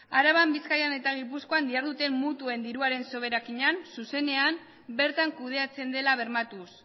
araban bizkaian eta gipuzkoan diharduten mutuen diruen soberakinak zuzenean bertan kudeatzen dela bermatuz